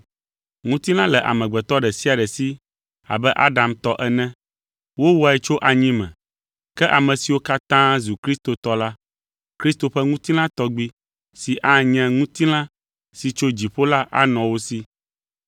Ŋutilã le amegbetɔ ɖe sia ɖe si abe Adam tɔ ene. Wowɔe tso anyi me, ke ame siwo katã zu Kristo tɔ la, Kristo ƒe ŋutilã tɔgbi, si anye ŋutilã si tso dziƒo la anɔ wo si.